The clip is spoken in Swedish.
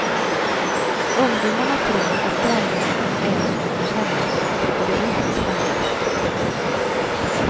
Ungdomarna tror att grannländerna är som hos hemma, och det är inte spännande.